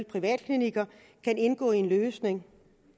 privatklinikker kan indgå i en løsning